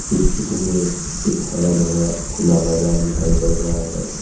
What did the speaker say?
इस चित्र में एक हरा भरा खुला मैदान दिखाई पड़ रहा है।